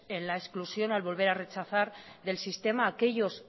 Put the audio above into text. en la exclusión al volver rechazar del sistema a aquellos